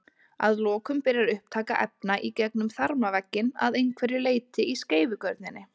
Að lokum byrjar upptaka efna í gegnum þarmavegginn að einhverju leyti í skeifugörninni.